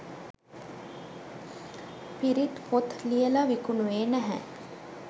පිරිත් පොත් ලියල විකුණුවේ නැහැ.